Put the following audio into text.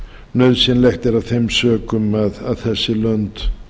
nauðsynlegt er af þeim sökum að þessi lönd